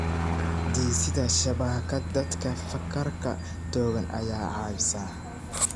Dhisidda shabakad dadka fakarka togan ayaa caawisa.